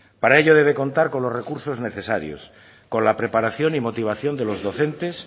para ello debe contar con los recursos necesarios con la preparación y motivación de los docentes